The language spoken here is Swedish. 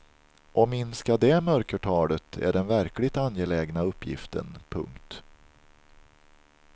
Att minska det mörkertalet är den verkligt angelägna uppgiften. punkt